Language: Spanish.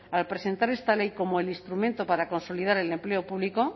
al presentar esta ley como el instrumento para consolidar el empleo público